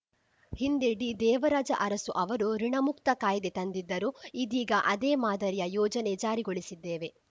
ಹಿಂದೆ ಡಿದೇವರಾಜ ಅರಸು ಅವರು ಋುಣಮುಕ್ತ ಕಾಯ್ದೆ ತಂದಿದ್ದರು ಇದೀಗ ಅದೇ ಮಾದರಿಯ ಯೋಜನೆ ಜಾರಿಗೊಳಿಸಿದ್ದೇವೆ